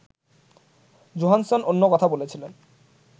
Johansson অন্য কথা বলেছিলেন